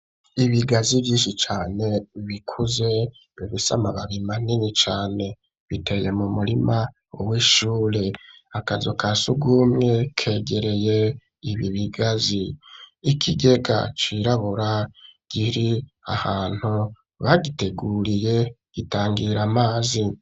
Ibigazi vyinshi cane bikuze bifise amababi manini cane biteye mu murima w'ishure akazo kasugumwe kegereye ibi bigazi ikigega cirabura giri ahantu bagiteguriye gitangira amazi.